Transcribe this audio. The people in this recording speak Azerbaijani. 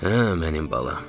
Hə, mənim balam.